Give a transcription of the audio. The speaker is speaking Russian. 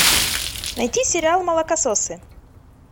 найди сериал молокососы